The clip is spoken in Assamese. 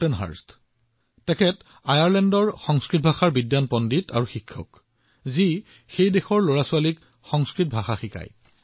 তেনে এজন ব্যক্তি হৈছে আয়াৰলেণ্ডৰ এজন প্ৰখ্যাত সংস্কৃত পণ্ডিত আৰু শিক্ষক শ্ৰীমান ৰাটগাৰ কৰ্টেনহাৰ্ষ্ট আৰু তেওঁ তাত থকা শিশুসকলক সংস্কৃত শিকায়